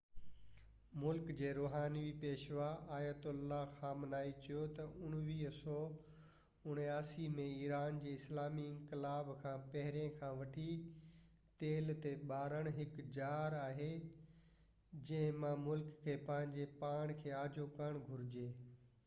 ملڪ جي روحاني پيشوا آیت اللہ علی خامنائي چيو تہ 1979 ۾ ايران جي اسلامي انقلاب کان پهرين کان وٺي تيل تي ڀاڙڻ هڪ ڄار آهي جنهن مان ملڪ کي پنهنجو پاڻ کي آجو ڪرڻ گهرجي